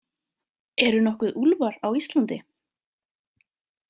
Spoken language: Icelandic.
Eru nokkuð úlfar á Íslandi?